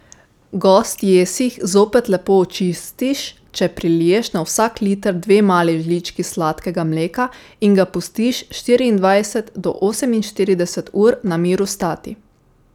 Gost jesih zopet lepo očistiš, če priliješ na vsak liter dve mali žlički sladkega mleka in ga pustiš štiriindvajset do oseminštirideset ur na miru stati.